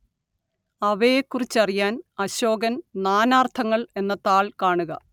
അവയെക്കുറിച്ചറിയാന്‍ അശോകന്‍ നാനാര്‍ത്ഥങ്ങള്‍ എന്ന താള്‍ കാണുക